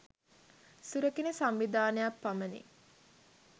සුරකින සංවිධානයක් පමණි.